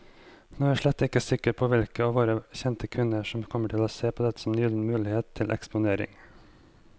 Nå er jeg slett ikke sikker på hvilke av våre kjente kvinner som kommer til å se dette som en gyllen mulighet til eksponering.